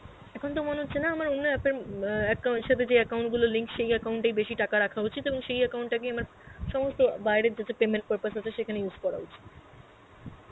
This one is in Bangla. এখন তো মনে হচ্ছে না আমার অন্য app অ্যাঁ acc~ সথে যেই account গুলো link সেই account এই বেসি টাকা রাখা উচিত এবং সেই account টাকেই আমার সমস্ত বাইরের যত payment purpose আছে সেখানে use করা উচিত.